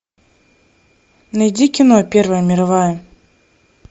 найди кино первая мировая